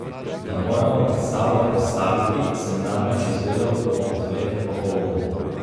Da moramo predstavo prestaviti, sem namreč izvedel ob dveh popoldne.